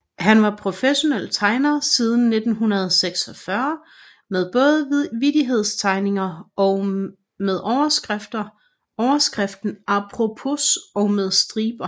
Han var professionel tegner siden 1946 med både vittighedstegninger med overskriften Aprospos og med striber